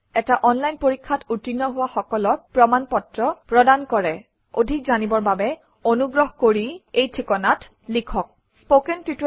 এটা অনলাইন পৰীক্ষাত উত্তীৰ্ণ হোৱা সকলক প্ৰমাণ পত্ৰ প্ৰদান কৰে অধিক জানিবৰ বাবে অনুগ্ৰহ কৰি কণ্টেক্ট আত spoken hyphen tutorial dot org - এই ঠিকনাত লিখক